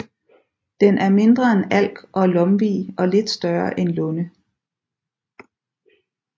Den er mindre end alk og lomvie og lidt større end lunde